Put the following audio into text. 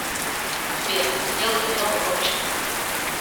сбер сделать немного громче